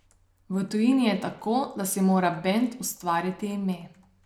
V tujini je tako, da si mora bend ustvariti ime.